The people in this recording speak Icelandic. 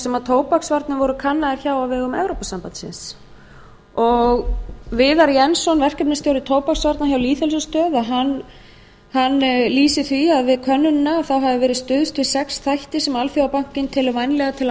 sem tóbaksvarnir voru kannaðar hjá á vegum evrópusambandsins viðar jensson verkefnisstjóri tóbaksvarna hjá lýðheilsustöð lýsir því að við könnunina hafi verið stuðst við sex þætti sem alþjóðabankinn telur vænlega til